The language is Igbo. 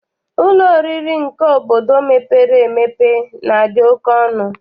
Ụlọ oriri nke obodo mepere emepe na-adị oke ọnụ.